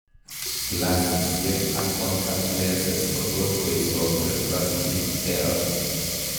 Glassisiek ak contact lenses kotot koisob refractive errors